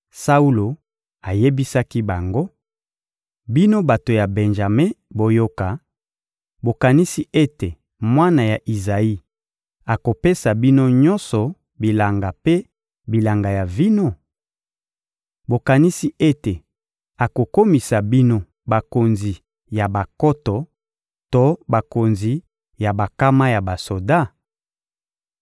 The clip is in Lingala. Saulo ayebisaki bango: «Bino bato ya Benjame boyoka, bokanisi ete mwana ya Izayi akopesa bino nyonso bilanga mpe bilanga ya vino? Bokanisi ete akokomisa bino bakonzi ya bankoto to bakonzi ya bankama ya basoda?